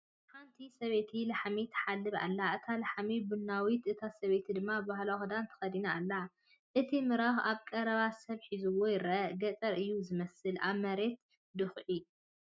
ሓንቲ ሰበይቲ ላሕሚ ትሓልብ ኣላ፣ እታ ላሕሚ ቡናዊት፣ እታ ሰበይቲ ድማ ባህላዊ ክዳን ተኸዲና ኣላ። እቲ ምራኽ ኣብ ቀረባ ሰብ ሒዝዎ ይረአ። ገጠር እዩ ዝመስል። ኣብ መሬት ድዅዒ።